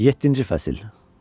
Yeddinci fəsil.